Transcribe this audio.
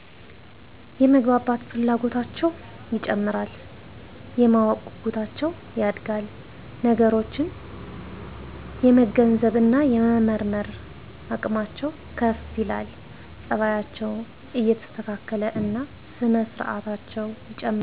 - የመግባባት ፍላጎታቸው ይጨምራል። - የማወቅ ጉጉታቸው ያድጋል። - ነገሮችን የመገንዘብ እና የመመርመር አቅማቸው ከፍ ይላል። - ፀባያቸው እየተስተካከለ እና ስነ ስርአታቸው ይጨምራል።